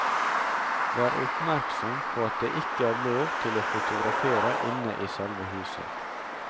Vær oppmerksom på at det ikke er lov til å fotografere inne i selve huset.